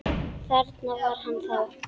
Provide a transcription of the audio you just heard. Þarna var hann þá!